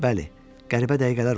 Bəli, qəribə dəqiqələr olurdu.